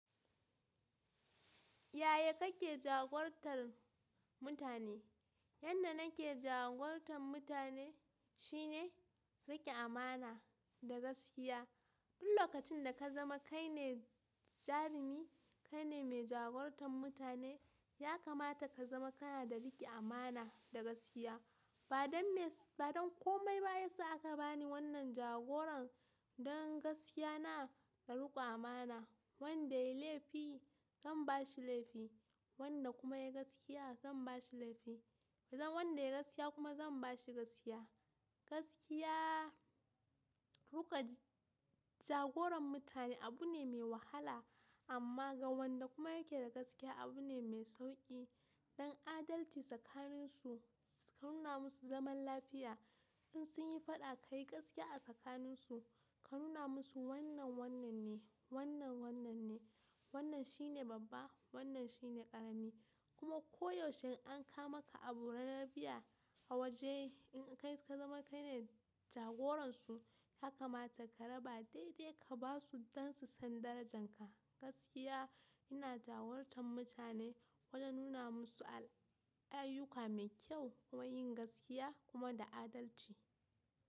Yaya kake jagorantar mutane? Yanda nake jagorantar mutane shine riƙe amana da gaskiya. Duk lokacin da ka zama kai ne jarumi, kai ne mai jagorantar mutane, ya kamata ka zama kana da riƙe amana da gaskiya. Badanme Ba don komai ba ya sa aka bani wannan jagoran don gaskiya na da riƙo amana. Wanda ya yi laifi zan ba shi laifi, wanda kuma ya yi gaskiya zan ba shi laifi. Zan Wanda ya yi gaskiya kuma zan ba shi gaskiya. Gaskiya, riƙe jagoran mutane abu ne mai wahala amma ga wanda kuma yake da gaskiya abu ne mai sauƙi. Don adalci tsakanin su, ka nuna musu zaman lafiya. In sun yi faɗa ka yi gaskiya a tsakanin su, ka nuna musu wannan wannan ne, wannan wannan ne, wannan shi ne babba, wannan shi ne ƙarami. Kuma koyaushe in an kawo maka abu ranar biya a waje in kai ka zama kai ne jagoransu, ya kamata ka raba daidai ka ba su don su san darajanka. Gaskiya ina jagorantar mutane wajen nuna musu ayyuka mai kyau kuma yin gaskiya kuma da adalci.